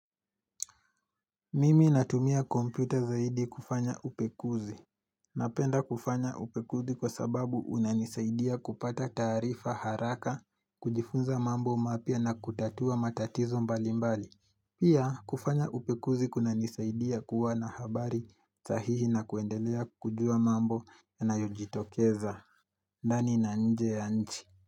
Mimi natumia kompyuta zaidi kufanya upekuzi. Napenda kufanya upekuzi kwa sababu unanisaidia kupata tarifa haraka, kujifunza mambo mapya na kutatua matatizo mbali mbali. Pia kufanya upekuzi kuna nisaidia kuwa na habari sahihi na kuendelea kujua mambo na yanayojitokeza. Ndani na nje ya nchi.